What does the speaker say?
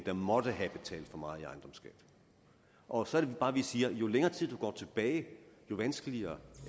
der måtte have betalt for meget i ejendomsskat og så er det bare vi siger at jo længere tid du går tilbage jo vanskeligere